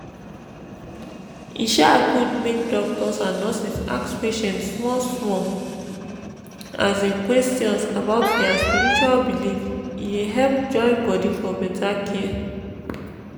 e um good make doctors and nurses ask patient small small um questions about their spiritual belief e dey help join body for better care.